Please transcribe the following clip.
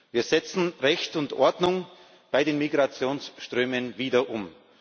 Wir setzen Recht und Ordnung bei den Migrationsströmen wieder um.